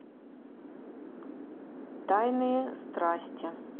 тайные страсти